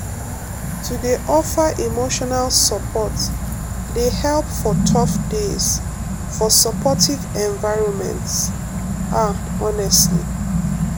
to dey offer emotional support dey help for tough days for supportive environments ah honestly